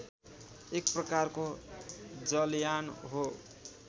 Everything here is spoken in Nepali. एक प्रकारको जलयान हो